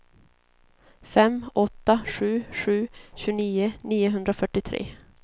fem åtta sju sju tjugonio niohundrafyrtiotre